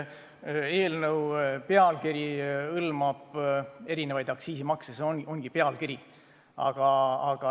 Jah, eelnõu pealkiri hõlmab erinevaid aktsiise, aga see on vaid pealkiri.